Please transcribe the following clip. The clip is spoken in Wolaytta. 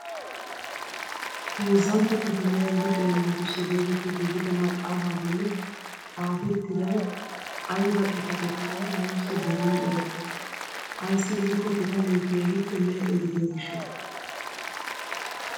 Heezzantto kifiliyaa luxiyaa naatussi getetti giigida maxaafaa bolli xaafettiday ayba xifatekkonne nuusi darin erettena. ayssi giikko pitalee keehippe lee'e gidiyoo gishshawu!